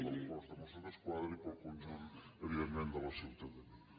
del cos de mossos d’esquadra i per al conjunt evidentment de la ciutadania